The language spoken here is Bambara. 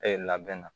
labɛn na